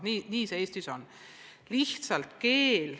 Nii see Eestis on.